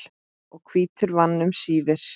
og hvítur vann um síðir.